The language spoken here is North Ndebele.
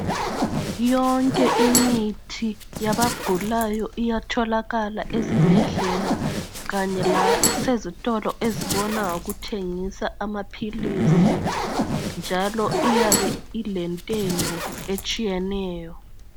Yonke imithi yabagulayo iyatholakala ezibhedlela kanye lasezitolo ezibona ngokuthengisa amaphilisi njalo iyabe ilentengo etshiyeneyo.